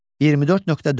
24.4.